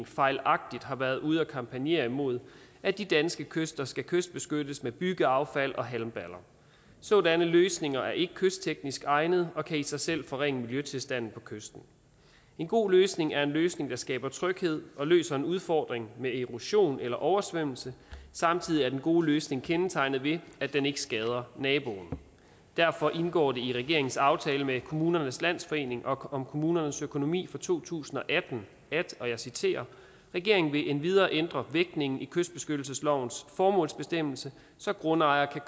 fejlagtigt har været ude at lave kampagne imod at de danske kyster skal kystbeskyttes med byggeaffald og halmballer sådanne løsninger er ikke kystteknisk egnede og kan i sig selv forringe miljøtilstanden på kysten en god løsning er en løsning der skaber tryghed og løser en udfordring med erosion eller oversvømmelse samtidig er den gode løsning kendetegnet ved at den ikke skader naboen derfor indgår det i regeringens aftale med kommunernes landsforening om kommunernes økonomi for to tusind og atten at og jeg citerer regeringen vil endvidere ændre vægtningen i kystbeskyttelseslovens formålsbestemmelse så grundejere kan